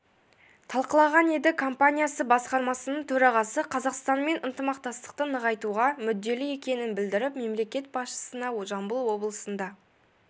талқылаған еді компаниясы басқармасының төрағасы қазақстанмен ынтымақтастықты нығайтуға мүдделі екенін білдіріп мемлекет басшысына жамбыл облысында